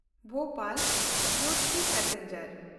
ᱵᱷᱳᱯᱟᱞ–ᱡᱳᱫᱷᱯᱩᱨ passenger